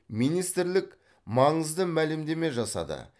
министрлік маңызды мәлімдеме жасады